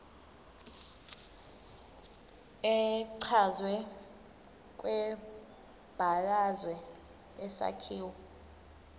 echazwe kwibalazwe isakhiwo